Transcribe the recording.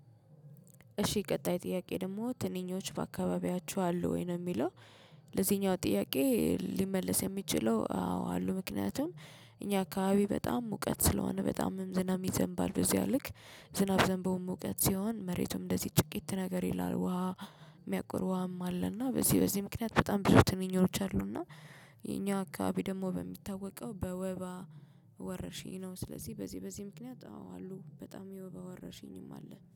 እሺ ቀጣይ ጥያቄ ደግሞ ትንኞች በአካባቢያችሁ አሉ ወይ? ነው የሚለው ለዚህኛው ጥያቄ ሊመልስ የሚችለው አዎ አሉ ምክንያቱም እኛ አካባቢ በጣም ሙቀት ስለሆነ በጣምም ዝናብ ይዘንባል በዚህ ያልክ ዝናብ ዘንበውን ሙቀት ሲሆን መሬቱም እንደዚህ ጭቅይት ነገር ይላል ውሃ የሚያቁር ውሃም አለና በዚህ በዚህ ምክንያት በጣም ብዙ ትንኝነቶች አሉና የኛ አካባቢ ደግሞ በሚታወቀው በወባ ወረርሽኝ ነው ስለዚህ በዚህ በዚህ ምክንያት አሉ በጣም የወባ ወረርሽኝም አለ